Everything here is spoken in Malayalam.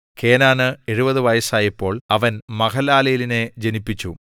കേനാന് 70 വയസ്സായപ്പോൾ അവൻ മഹലലേലിനെ ജനിപ്പിച്ചു